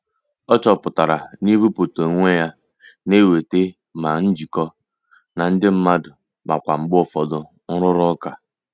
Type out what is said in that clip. O chọpụtara na ibuputa onwe ya na-eweta ma njikọ na ndị mmadụ ma kwa mgbe ụfọdụ nrụrụ ụka.